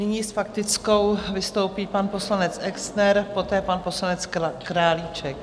Nyní s faktickou vystoupí pan poslanec Exner, poté pan poslanec Králíček.